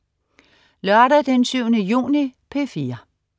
Lørdag den 7. juni - P4: